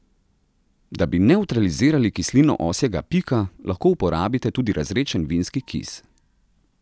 Da bi nevtralizirali kislino osjega pika, lahko uporabite tudi razredčen vinski kis.